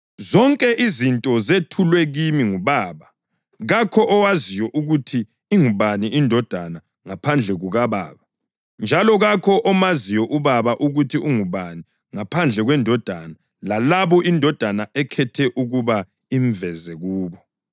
Zonke izinto zethulwe kimi nguBaba. Kakho owaziyo ukuthi ingubani iNdodana ngaphandle kukaBaba, njalo kakho omaziyo uBaba ukuthi ungubani ngaphandle kweNdodana lalabo iNdodana ekhethe ukuba imveze kubo.”